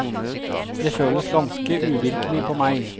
Det føles ganske uvirkelig på meg.